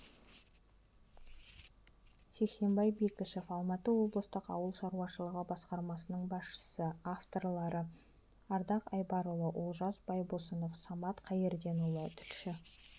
сексембай бекішов алматы облыстық ауыл шаруашылығы басқармасының басшысы авторлары ардақ айбарұлы олжас байбосынов самат қайырденұлы тілші